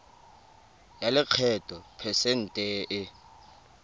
ya lekgetho phesente e